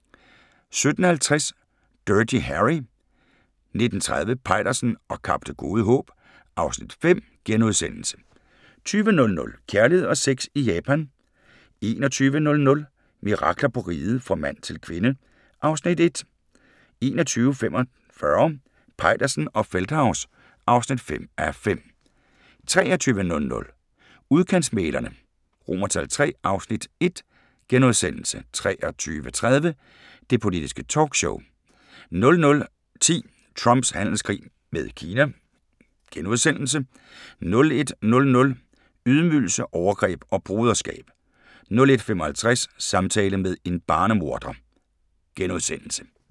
17:50: Dirty Harry 19:30: Peitersen og Kap Det Gode Håb (Afs. 5)* 20:00: Kærlighed og sex i Japan 21:00: Mirakler på Riget – Fra mand til kvinde (Afs. 1) 21:45: Peitersen og Feldthaus (5:5) 23:00: Udkantsmæglerne III (Afs. 1)* 23:30: Det Politiske Talkshow 00:10: Trumps handelskrig med Kina * 01:00: Ydmygelse, overgreb og broderskab 01:55: Samtale med en barnemorder *